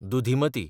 दुधिमती